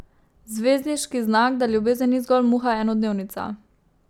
Zvezdniški znak, da ljubezen ni zgolj muha enodnevnica.